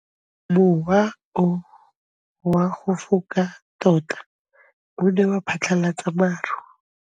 Mowa o wa go foka tota o ne wa phatlalatsa maru.